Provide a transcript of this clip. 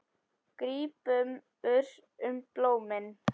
Grípur um blómin.